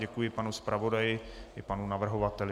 Děkuji panu zpravodaji i panu navrhovateli.